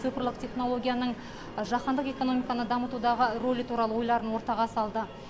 цифрлік технологияның жаһандық экономиканы дамытудағы ролі туралы ойларын ортаға салды